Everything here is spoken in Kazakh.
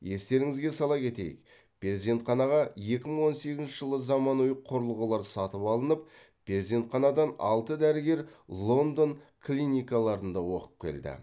естеріңізге сала кетейік перзентханаға екі мың он сегізінші жылы заманауи құрылғылар сатып алынып перзентханадан алты дәрігер лондон клиникаларында оқып келді